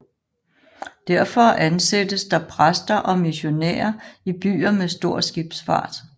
Derfor ansættes der præster og missionærer i byer med stor skibsfart